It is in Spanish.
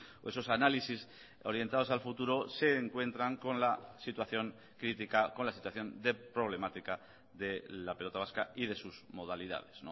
o esos análisis orientados al futuro se encuentran con la situación crítica con la situación de problemática de la pelota vasca y de sus modalidades